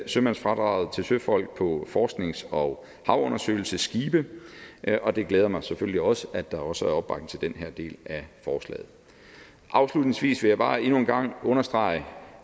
sømandsfradraget til søfolk på forsknings og havundersøgelsesskibe og det glæder mig selvfølgelig også at der også er opbakning til den her del af forslaget afslutningsvis vil jeg bare endnu en gang understrege